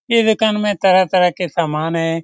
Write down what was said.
इ दुकान में तरह-तरह के सामान है।